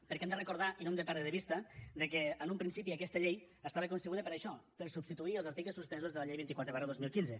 perquè hem de recordar i no hem de perdre de vista que en un principi aquesta llei estava concebuda per a això per substituir els articles suspesos de la llei vint quatre dos mil quinze